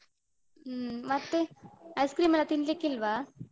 ಹ್ಮ್ ಮತ್ತೆ ice cream ಎಲ್ಲ ತಿನ್ಲಿಕ್ಕಿಲ್ವಾ?